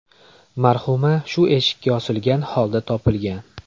Marhuma shu eshikka osilgan holda topilgan.